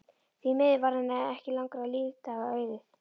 Því miður varð henni ekki langra lífdaga auðið.